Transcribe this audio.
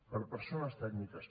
per persones tècniques